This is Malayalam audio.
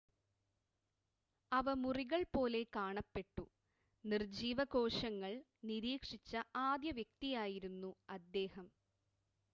അവ മുറികൾ പോലെ കാണപ്പെട്ടു നിർജ്ജീവ കോശങ്ങൾ നിരീക്ഷിച്ച ആദ്യ വ്യക്തിയായിരുന്നു അദ്ദേഹം